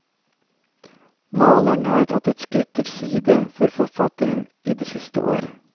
Maleren har tatt et skritt til side for forfatteren i de siste år.